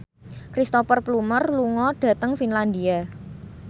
Cristhoper Plumer lunga dhateng Finlandia